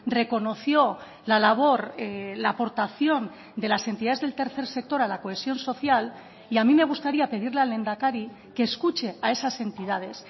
reconoció la labor la aportación de las entidades del tercer sector a la cohesión social y a mí me gustaría pedirle al lehendakari que escuche a esas entidades